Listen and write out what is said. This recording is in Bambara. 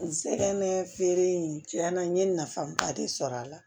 N sɛgɛn na feere in cɛn na n ye nafaba de sɔrɔ a la